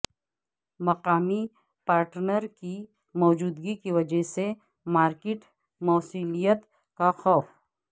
مقامی پارٹنر کی موجودگی کی وجہ سے مارکیٹ موصلیت کا خوف